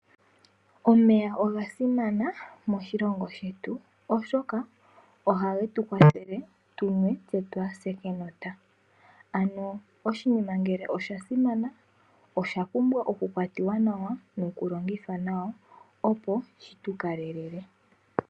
Omeya oga simana moshilongo shetu. Oshoka ohage tu kwathele tu nwe tse twaa se kenota. Ano ngele oshinima osha simana osha pumbwa oku kwatiwa nawa nokulongithwa nawa opo shi tukalele.